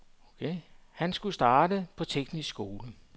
Han skulle starte på teknisk skole.